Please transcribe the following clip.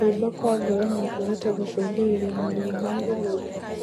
Kuimba kwa ngoro nokuhote gũcũngĩrĩrĩa maruo ma gĩthũri